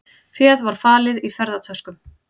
Féð var falið í ferðatöskum